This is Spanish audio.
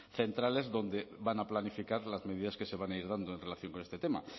centrales donde van a planificar las medidas que se van a ir dando en relación con este tema